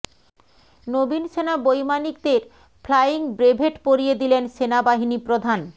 নবীন সেনা বৈমানিকদের flying brevet পরিয়ে দিলেন সেনাবাহিনী প্রধান